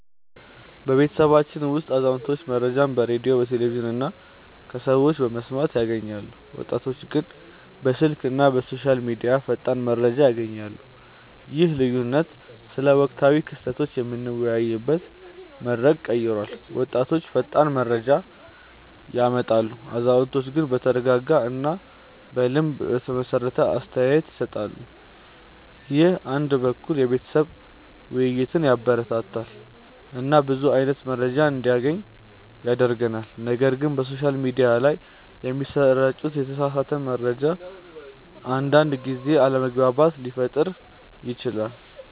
በቤተሰባችን ውስጥ አዛውንቶች መረጃን በሬዲዮ፣ ቴሌቪዥን እና ከሰዎች በመስማት ያገኛሉ፣ ወጣቶች ግን በስልክ እና በሶሻል ሚዲያ ፈጣን መረጃ ያገኛሉ። ይህ ልዩነት ስለ ወቅታዊ ክስተቶች የምንወያይበትን መንገድ ቀይሯል፤ ወጣቶች ፈጣን መረጃ ያመጣሉ፣ አዛውንቶች ግን በተረጋጋ እና በልምድ የተመሰረተ አስተያየት ይሰጣሉ። ይህ አንድ በኩል የቤተሰብ ውይይትን ያበረታታል እና ብዙ አይነት መረጃ እንዲገናኝ ያደርጋል፣ ነገር ግን በሶሻል ሚዲያ ላይ የሚሰራጭ የተሳሳተ መረጃ አንዳንድ ጊዜ አለመግባባት ሊፈጥር ይችላል